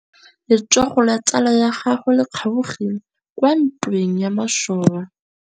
Letsôgô la tsala ya gagwe le kgaogile kwa ntweng ya masole.